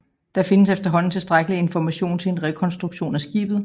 Der findes efterhånden tilstrækkelig information til en rekonstruktion af skibet